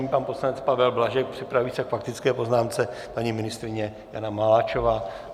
Nyní pan poslanec Pavel Blažek, připraví se k faktické poznámce paní ministryně Jana Maláčová.